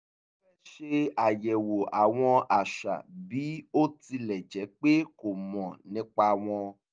ó fẹ́ ṣe àyẹ̀wò àwọn àṣà bí ó tilẹ̀ jẹ́ pé kò mọ̀ nípa wọn